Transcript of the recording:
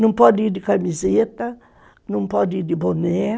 Não pode ir de camiseta, não pode ir de boné.